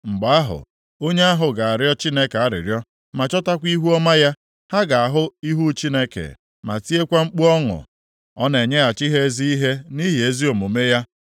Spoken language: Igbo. Mgbe ahụ, onye ahụ ga-arịọ Chineke arịrịọ ma chọtakwa ihuọma ya, ha ga-ahụ ihu Chineke ma tiekwa mkpu ọṅụ, ọ na-enyeghachi ha ezi ihe nʼihi ezi omume ya.